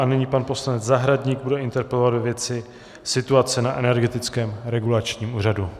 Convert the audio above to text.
A nyní pan poslanec Zahradník bude interpelovat ve věci situace na Energetickém regulačním úřadu.